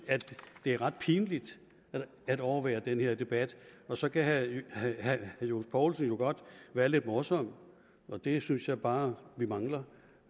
det er ret pinligt at overvære den her debat og så kan herre johs poulsen godt være lidt morsom for det synes jeg bare vi mangler